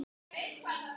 Við sjálfan mig.